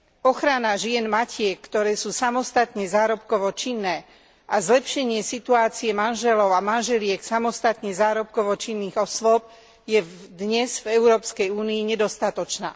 Ochrana žien matiek, ktoré sú samostatne zárobkovo činné, a zlepšenie situácie manželov a manželiek samostatne zárobkovo činných osôb je dnes v Európskej únii nedostatočná.